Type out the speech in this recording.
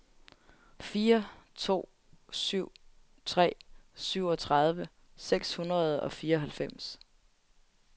fire to syv tre syvogtredive seks hundrede og fireoghalvfems